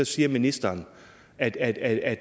siger ministeren at at